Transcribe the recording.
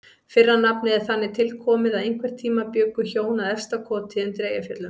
Fyrra nafnið er þannig tilkomið að einhvern tíma bjuggu hjón að Efstakoti undir Eyjafjöllum.